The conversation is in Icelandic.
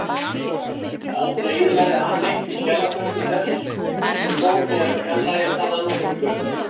Aldrei eyðilagði hann neitt í skjalatösku þess sem fór né fjarlægði þaðan nokkurn hlut.